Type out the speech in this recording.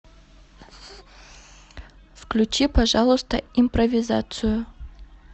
включи пожалуйста импровизацию